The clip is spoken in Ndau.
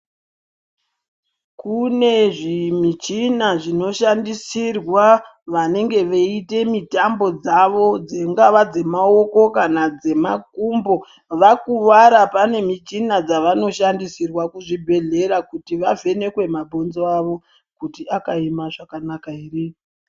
Kune zvimichina zvinoshandisirwa vanenge veiite mitambo dzavo, dzivo dzemaoko kana dzemakumbo. Vakuvara pane zvimichina dzavanoshandisirwa kuzvibhehlera kuti vavhenekwe mabhonzo avo kuti akaema zvakanaka here.